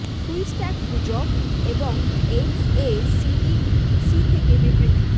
সুই স্ট্যাক গুজব এবং এইডস এ সিডি সি থেকে বিবৃতি